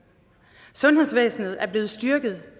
sundhedsvæsenet er blevet styrket